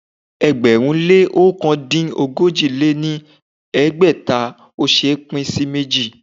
ẹgbẹ̀rún lé ọ̀kan dín ogójì lé ní ẹgbẹ́ta ò ṣé é pín sí méjì.